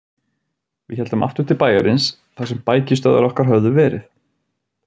Við héldum aftur til bæjarins þar sem bækistöðvar okkar höfðu verið.